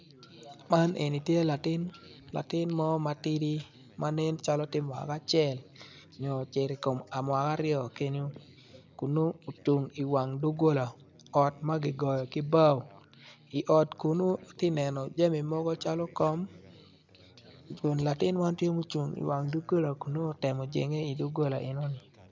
Man eni tye latin mo matidi ma tye mwaka acel nyo cito i kom mwaka aryo kenyu kun nongo ocung i wang doggola odt ma kigoyo ki bao i ot kunu atye a neno jami mogo calo kom.